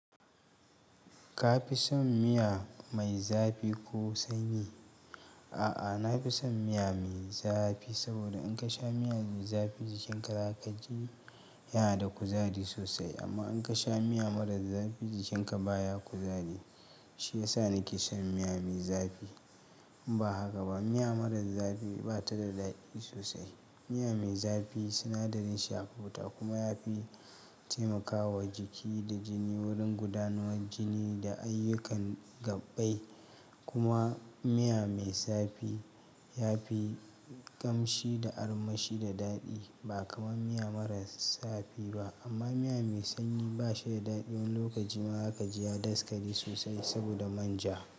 Ka fi son miya mai zafi ko sanyi? A'a, na fi son miya mai zafi. Saboda in ka sha miya mai zafi jikinka zaka ji yana da kuzari sosai. Amma in ka sha miya marar zafi, jikinka baya kuzari. Shi yasa nake son miya mai zafi. Ba haka ba, miya marar zafi ba ta da daɗi sosai. Miya mai zafi sinadarin shi ya fi wuta kuma ya fi taimakawa jiki da jini wurin gudanar jini da ayyukan gabai. Kuma miya mai zafi ya fi kamshi da armashi da daɗi ba kamar miya marar zafi ba. Amma miya mai sanyi ba shi da daɗi. Wani lokacin ma zaka ji ya daskare sosai saboda manja.